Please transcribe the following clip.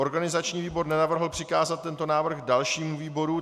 Organizační výbor nenavrhl přikázat tento návrh dalšímu výboru.